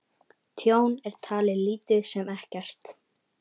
Tjón er talið lítið sem ekkert